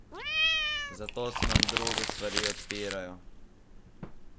Zato se nam druge stvari odpirajo.